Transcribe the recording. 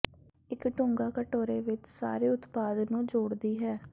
ਇੱਕ ਡੂੰਘਾ ਕਟੋਰੇ ਵਿੱਚ ਸਾਰੇ ਉਤਪਾਦ ਨੂੰ ਜੋੜਦੀ ਹੈ